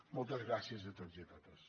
moltes gràcies a tots i totes